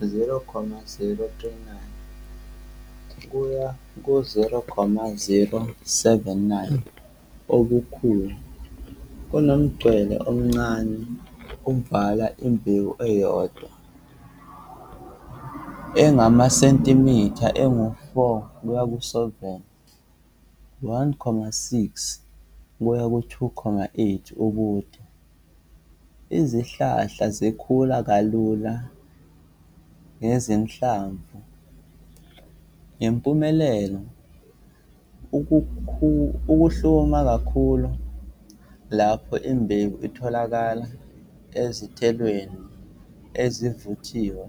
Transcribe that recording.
0.039-0.079 obukhulu kunomngcele omncane ovala imbewu eyodwa, engamasentimitha angu-4-7, 1.6-2.8 ubude. Izihlahla zikhula kalula ngezinhlamvu, ngempumelelo ukuhluma kakhulu lapho imbewu itholakala ezithelweni ezivuthiwe.